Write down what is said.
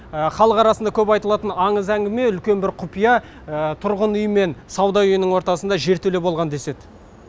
халық арасында көп айтылатын аңыз әңгіме үлкен бір құпия тұрғын үй мен сауда үйінің ортасында жертөле болған деседі